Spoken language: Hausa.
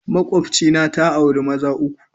Makwabcina ta auri maza uku.